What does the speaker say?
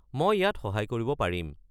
মই ইয়াত সহায় কৰিব পাৰিম।